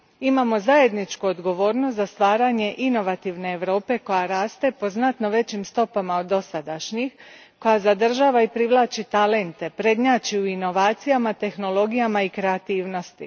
Imamo zajedničku odgovornost za stvaranje inovativne Europe koja raste po znatno većim stopama od dosadašnjih, koja zadržava i privlači talente, prednjači u inovacijama, tehnologijama i kreativnosti.